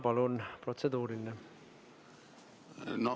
Palun protseduuriline!